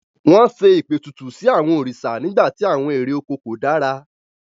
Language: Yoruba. Wọ́n ṣe ìpètùtù sí àwọn òrìṣà nígbà tí àwọn èrè oko kò dára.